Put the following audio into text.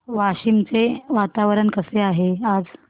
वाशिम चे वातावरण कसे आहे आज